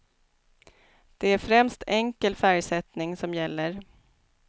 Det är främst enkel färgsättning som gäller.